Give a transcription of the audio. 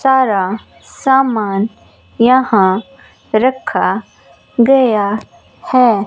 सारा सामान यहां रखा गया है।